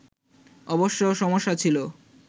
অবশ্য সমস্যা ছিল